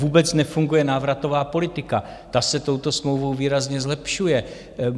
Vůbec nefunguje návratová politika, ta se touto smlouvou výrazně zlepšuje.